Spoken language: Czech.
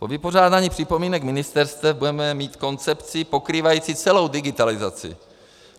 Po vypořádání připomínek ministerstev budeme mít koncepci pokrývající celou digitalizaci.